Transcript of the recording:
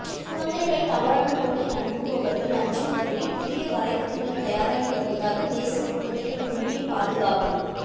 குழந்தைகளை தவறான நோக்கில் அணுகுபவர்கள் அஞ்சும் வகையில் புதிய வரைவு திட்டம் தயாராகி வருவதாக தேசிய குழந்தைகள் உரிமை பாதுகாப்பு